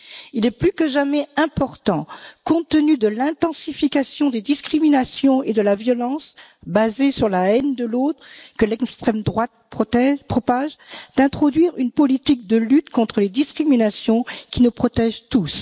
Il est plus que jamais important, compte tenu de l'intensification des discriminations et de la violence basée sur la haine de l'autre, que l'extrême droite propage, d'introduire une politique de lutte contre les discriminations qui nous protège tous.